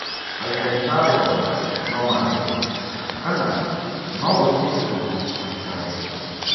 "Aikari a Rwanda no mandege kana no guthie undũ matikandege.